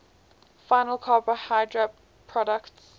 final carbohydrate products